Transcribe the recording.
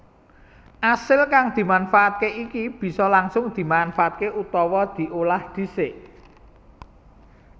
Asil kang dimanfaatke iki bisa langsung dimanfaatké utawa diolah dhisik